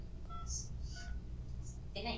କି ନାଇଁ